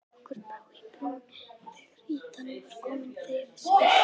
Okkur brá í brún þegar ýtan var komin segir Steini.